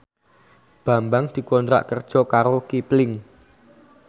Bambang dikontrak kerja karo Kipling